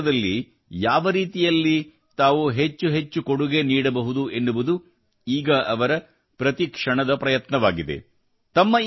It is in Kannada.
ಕೃಷಿ ಕ್ಷೇತ್ರದಲ್ಲಿ ಯಾವ ರೀತಿಯಲ್ಲಿ ತಾವು ಹೆಚ್ಚು ಹೆಚ್ಚು ಕೊಡುಗೆ ನೀಡಬಹುದು ಎನ್ನುವುದು ಈಗ ಅವರ ಪ್ರತಿ ಕ್ಷಣದ ಪ್ರಯತ್ನವಾಗಿದೆ